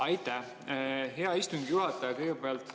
Aitäh, hea istungi juhataja!